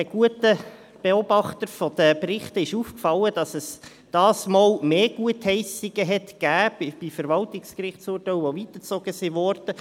Den guten Lesern der Berichte ist aufgefallen, dass es diesmal bei den Verwaltungsgerichtsurteilen mehr Gutheissungen gegeben hat, die weitergezogen wurden.